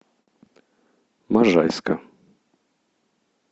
можайска